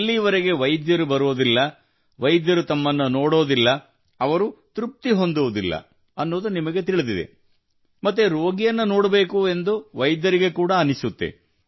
ಎಲ್ಲಿವರೆಗೆ ವೈದ್ಯರು ಬರುವುದಿಲ್ಲ ವೈದ್ಯರು ತಮ್ಮನ್ನು ನೋಡುವುದಿಲ್ಲ ಅವರು ತೃಪ್ತಿ ಹೊಂದುವುದಿಲ್ಲ ಎಂಬುದು ನಿಮಗೆ ತಿಳಿದಿದೆ ಮತ್ತು ರೋಗಿಯನ್ನು ನೋಡಬೇಕು ಎಂದು ವೈದ್ಯರಿಗೆ ಕೂಡ ಅನಿಸುತ್ತದೆ